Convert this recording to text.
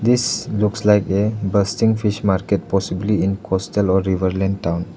This looks like a bustling fish market possibly in coastal or riverland town.